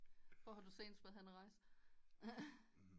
Hvor har du senest været henne og rejse